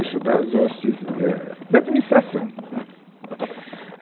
Isso das hostes, éh, da administração, né